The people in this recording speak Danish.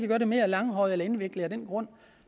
gøre det mere langhåret eller indviklet af den grund